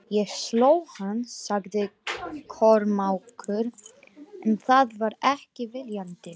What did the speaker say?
Ég sló hann, sagði Kormákur, en það var ekki viljandi.